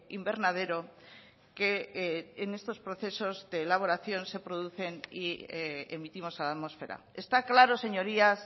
invernadero que en estos procesos de elaboración se producen y emitimos a la atmósfera está claro señorías